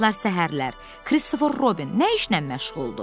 Son vaxtlar səhərlər Kristofer Robin nə işlə məşğuldur?